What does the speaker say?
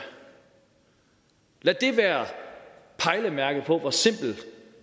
lad det være pejlemærket på hvor simpelt